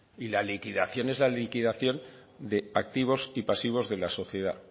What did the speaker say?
y la liquidación es la liquidación de activos y pasivos de la sociedad